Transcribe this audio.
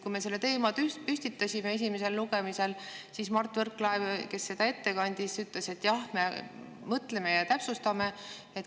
Kui me selle teema püstitasime esimesel lugemisel, siis Mart Võrklaev, kes seda ette kandis, ütles, et jah, me mõtleme ja täpsustame.